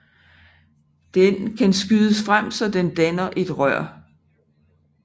Den kan skydes frem så den danner et rør